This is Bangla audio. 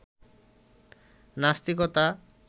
নাস্তিকতা